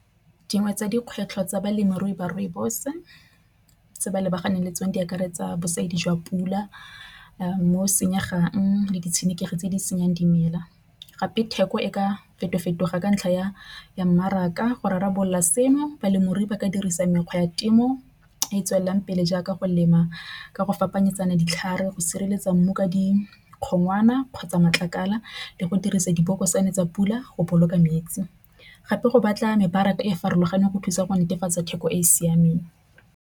Dingwe tsa dikgwetlho tsa balemirui ba rooibos se ba lebaganeng le tsone di akaretsa bosadi jwa pula mo senyega jang le ditshenekegi tse di senyang dimela. Gape theko e ka feto fetoga ka ntlha ya mmaraka go rarabolola seno balemirui ba ka dirisa mekgwa ya temo e e tswelelang pele jaaka go lema ka go phapanyetsano ditlhare go sireletsa mmu ka dikgotlwana kgotsa matlakala le go dirisa diboko tswana tsa pula go boloka metsi. Gape go batla mebaraka e e farologaneng go thusa go netefatsa theko e e siameng.